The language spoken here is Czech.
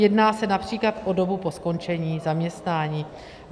Jedná se například o dobu po skončení zaměstnání.